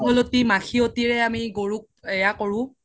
মাখিয়তি ৰে আমি গৰুক এয়া কৰো